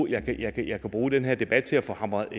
her jeg kan jo bruge den her debat til at få hamret